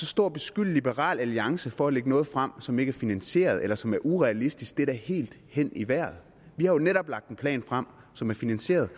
stå og beskylde liberal alliance for at lægge noget frem som ikke er finansieret eller som er urealistisk er da helt hen i vejret vi har jo netop lagt en plan frem som er finansieret